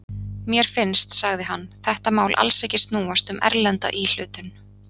Mér finnst, sagði hann, þetta mál alls ekki snúast um erlenda íhlutun.